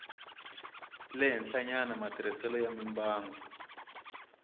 le henhlanyana matirhiselo ya mimbangu